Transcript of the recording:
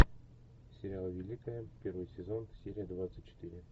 сериал великая первый сезон серия двадцать четыре